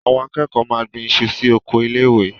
Àwọn akẹ́kọ̀ọ́ máa gbin iṣu sí oko ilé-ẹ̀kọ́.